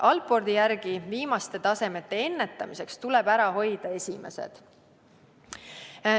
Allporti järgi tuleb viimaste tasemete ennetamiseks ära hoida esimesed.